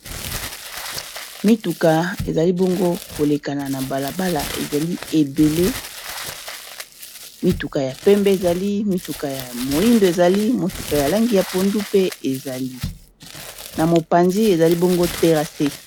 Mituka ezali bongo koleka na balabala ezali ebele mituka ya pembe ,ezali mituka ya moindo ezali motuka ya langi ya pondu pe ezali na mopanzi ezali bongo terase.